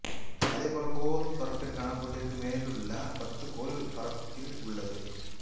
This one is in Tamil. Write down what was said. அதேபோல கோல் பரப்பிற்கான கோட்டிற்கு மேலுள்ள பந்து கோல் பரப்பில் உள்ளது